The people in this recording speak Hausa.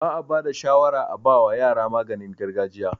Ba'a bada shawara a bawa yara maganin gargajiya